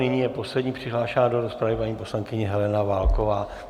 Nyní je poslední přihlášená do rozpravy, paní poslankyně Helena Válková.